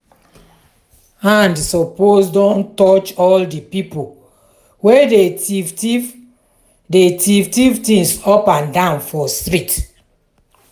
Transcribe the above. hand suppose don touch all di pipo wey dey tiff tiff dey tiff tiff things up and down for street.